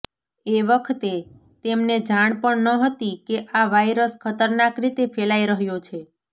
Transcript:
એ વખતે તેમને જાણ પણ ન હતી કે આ વાયરસ ખતરનાક રીતે ફેલાઈ રહ્યો છે